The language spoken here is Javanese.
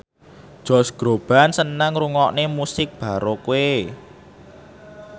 Josh Groban seneng ngrungokne musik baroque